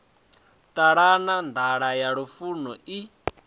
ṱalana nḓala ya lufuno i